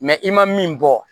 i ma min bɔ